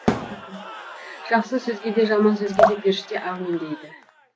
жақсы сөзге де жаман сөзге де періште әумин дейді